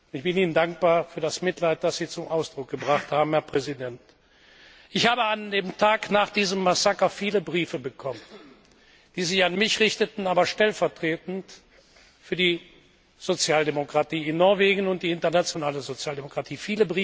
Ich bin Ihnen dankbar für das Mitgefühl, das Sie zum Ausdruck gebracht haben, Herr Präsident! Ich habe an dem Tag nach diesem Massaker viele Briefe bekommen, die sich an mich richteten, aber stellvertretend für die Sozialdemokratie in Norwegen und die internationale Sozialdemokratie.